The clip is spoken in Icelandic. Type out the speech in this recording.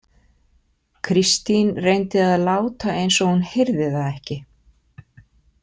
Kristín reyndi að láta eins og hún heyrði það ekki.